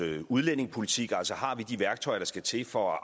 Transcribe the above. udlændingepolitik altså har vi de værktøjer der skal til for